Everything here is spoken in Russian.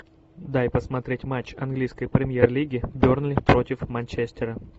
дай посмотреть матч английской премьер лиги бернли против манчестера